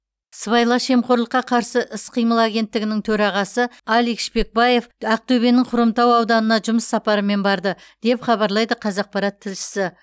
сыбайлас жемқорлыққа қарсы іс қимыл агенттігінің төрағасы алик шпекбаев ақтөбенің хромтау ауданына жұмыс сапарымен барды деп хабарлайды қазақпарат тілшісі